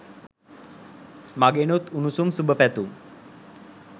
මගෙනුත් උණුසුම් සුභපැතුම්.